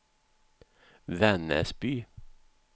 Vännäsby